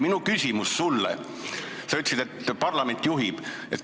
Sa ütlesid, et parlament juhib.